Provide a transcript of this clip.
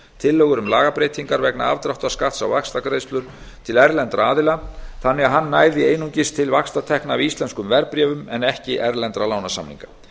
tillögur um lagabreytingar vegna afdráttarskatts á vaxtagreiðslur til erlendra aðila þannig að hann næði einungis til vaxtatekna af íslenskum verðbréfum en ekki erlendra lánasamninga